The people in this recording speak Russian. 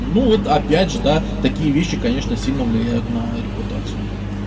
ну вот опять же да такие вещи конечно сильно влияют на репутацию